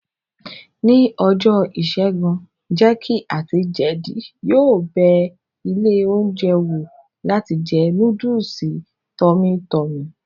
Ní ọjọ́ ìṣẹ́gun, jéèkì àti jeedi yóò bẹ ilé oúnjẹ wò láti jẹ núdùsì tọ́mí tọmì